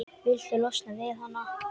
Viltu losna við hana?